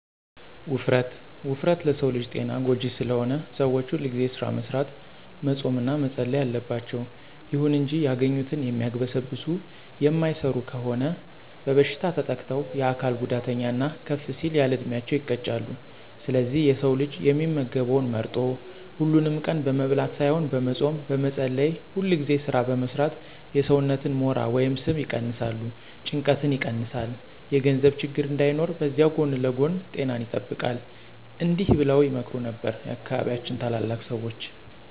ውፍረት፦ ውፍረት ለሰው ልጅ ጤና ጎጂ ስለሆነ ሰዎች ሁልጊዜ ስራ መስራት፣ መፆም እና መፀለይ አለባቸው። ይሁን እንጂ ያገኙትን የሚያግበሰብሱ የማይሰሩ ከሆኑ በበሽታ ተጠቅተው የአካል ጉዳተኛ እና ከፍ ሲል ያለዕድሜያቸው ይቀጫሉ። ስለዚህ የሰው ልጅ የሚመገበውን መርጦ፣ ሀሉንም ቀን በመብላት ሳይሆን በመፆም፣ በመፀለይ፣ ሁልጊዜ ስራ በመስራት የሰውነትን ሞራ ወይም ስብ ይቀነስ፣ ጭንቀትን ይቀንሳል፣ የገንዘብ ችግር እንዳይኖር በዚያዉ ጎን ለጎን ጤናን ይጠብቃል። እዲህ በለዉ ይመክሩ ነበር የአካባቢያችን ታላላቅ ሰዎች።